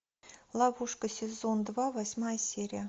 ловушка сезон два восьмая серия